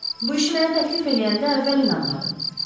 Bu işi mənə təklif eləyəndə əvvəl inanmadım.